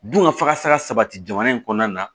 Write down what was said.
Dun ka fakasa sabati jamana in kɔnɔna na